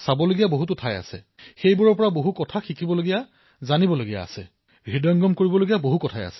প্ৰধানমন্ত্ৰীঃ কিন্তু ভাৰতত বিভিন্ন স্থানত কিবা নহয় কিবা এটা চাবলগীয়া থাকেই অধ্যয়ন কৰাৰ দৰে হয় আৰু এক প্ৰকাৰে আত্মা পৰিষ্কাৰ কৰাৰ দৰে হয়